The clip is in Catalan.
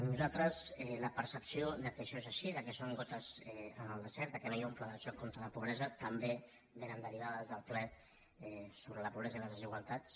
nosaltres la percepció que això és així que són gotes en el desert que no hi ha un pla de xoc contra la pobresa també ve derivada del ple sobre la pobresa i les desigualtats